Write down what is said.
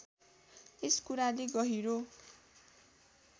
यस कुराले गहिरो